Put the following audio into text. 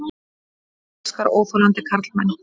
Hún elskar óþolandi karlmenn.